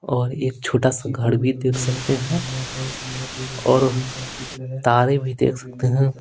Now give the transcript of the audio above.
और एक छोटा सा घर भी देख सकते हैं और तारे भी देख सकते हैं।